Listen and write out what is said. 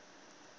kwamhlanga